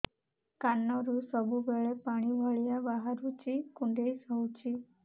କାନରୁ ସବୁବେଳେ ପାଣି ଭଳିଆ ବାହାରୁଚି କୁଣ୍ଡେଇ ହଉଚି